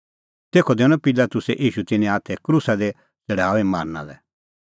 तेखअ दैनअ पिलातुसै ईशू तिन्नें हाथै क्रूसा दी छ़ड़ाऊई मारना लै तेखअ निंयं तिन्नैं ईशू